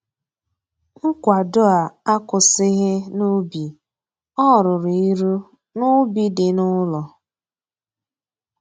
Nkwado a akwụsịghị n'ubi, o ruru ịrụ n'ubi dị n'ụlọ